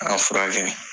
An y'an furakɛ